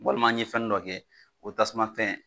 Walima an ye fɛni dɔ kɛ o tasuma fɛn